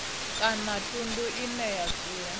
kana thundu ine ya dzula